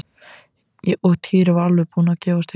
Og Týri var alveg búinn að gefast upp.